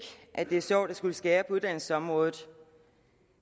at det er sjovt at skulle skære på uddannelsesområdet